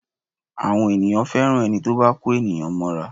Àwọn ènìyàn fẹ́ràn ẹni tí ó bá kó ènìyàn mọ́ra